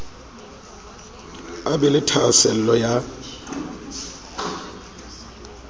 a be le thahasello ya